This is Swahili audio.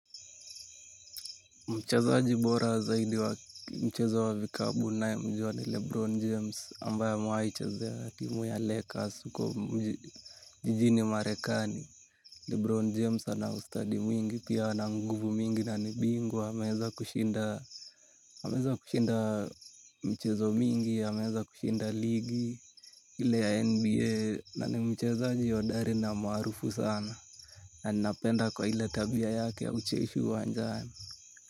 Mchezaji bora zaidi wa mchezo wa vikabu naemjuwa ni Lebron James ambaye amewai chezea timu ya Lakers uko jijini Marekani. Lebron James anaustadi mwingi pia ana nguvu mingi na ni bingwa ameeza kushinda mchezo mingi ameeza kushinda ligi hile ya NBA na ni mchezaji hodari na maarufu sana. Na ninapenda kwa ile tabia yake ya ucheshi uwanjani.